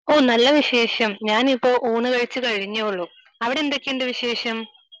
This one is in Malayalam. നല്ല വിശേഷം. ഞാനിപ്പോൾ ഊണ് കഴിച്ചു കഴിഞ്ഞതേ ഉള്ളൂ. അവിടെ എന്തൊക്കെയുണ്ട് വിശേഷം?